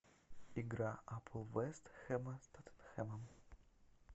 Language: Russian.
игра апл вест хэма с тоттенхэмом